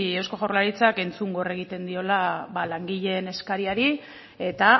eusko jaurlaritzak entzungor egiten diola ba langileen eskariari eta